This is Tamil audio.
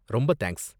ரொம்ப தேங்க்ஸ்